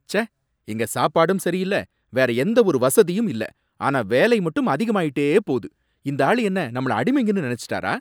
ச்சே! இங்க சாப்பாடும் சரியில்ல, வேற எந்த ஒரு வசதியும் இல்ல ஆனா வேலை மட்டும் அதிகமாயிட்டே போகுது, இந்தாளு என்ன நம்மள அடிமைங்கன்னு நினைச்சுட்டாரா?